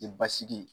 I basigi